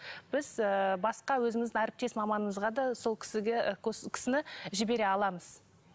біз ыыы басқа өзіміздің әріптес маманымызға да сол кісіге ы кісіні жібере аламыз